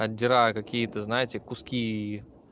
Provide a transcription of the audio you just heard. отдираю какие-то знаете куски